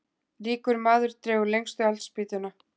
Ríkur maður dregur lengstu eldspýtuna.